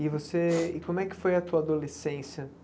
E você, como é que foi a tua adolescência?